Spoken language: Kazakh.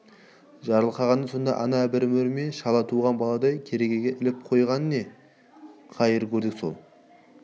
жарылқағаны сонда анау бір мөр ме шала туған баладай керегеге іліп қойған не қайыр көрдік сол